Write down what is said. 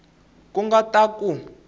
ku nga ta ka ku